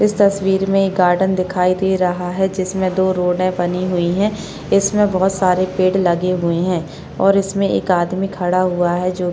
इस तस्वीर में एक गार्डन दिखाई दे रहा है जिसमें दो बनी हुई है इसमें बहुत सारे पेड़ लगे हुए है और इसमें एक आदमी खड़ा हुआ है जो --